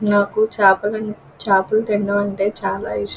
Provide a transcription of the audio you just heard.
నాకు చాప చాపలు తినడం అంటే చాలా ఇస్టం.